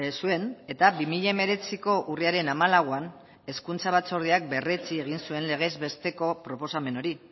zuen eta bi mila hemeretziko urriaren hamalauan hezkuntza batzordeak berretsi egin zuen legez besteko proposamen hori